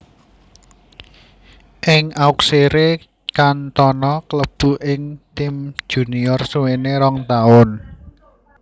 Ing Auxerre Cantona klebu ing tim junior suwene rong taun